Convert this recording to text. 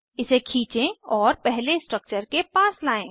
इसे खींचें और पहले स्ट्रक्चर के पास लायें